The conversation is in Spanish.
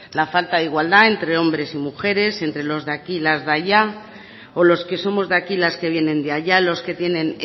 la falta de igualdad entre hombres y mujeres entre los de aquí y las de allá o los que somos de aquí y las que vienen de allá los que tienen